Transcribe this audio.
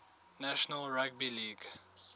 national rugby league